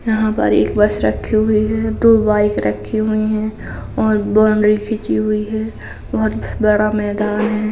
यहाँ पर एक बस रखी हुई है। दो बाइक रखी हुई हैं और बाउंड्री खींची हुई है। बहोत बड़ा मैदान है।